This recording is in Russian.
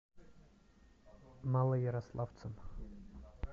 малоярославцем